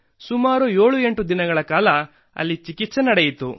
ಸುಮಾರು 78 ದಿನಗಳ ಕಾಲ ಅಲ್ಲಿ ಚಿಕಿತ್ಸೆ ನಡೆಯಿತು